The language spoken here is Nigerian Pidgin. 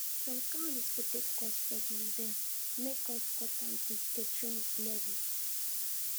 some kain unexpected cost for the event make us cut down the catering level